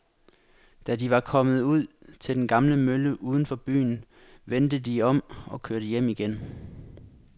Da de var kommet ud til den gamle mølle uden for byen, vendte de om og kørte hjem igen.